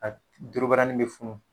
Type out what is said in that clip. A dorobarani mɛ funun